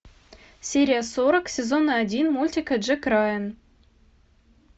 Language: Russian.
серия сорок сезона один мультика джек райан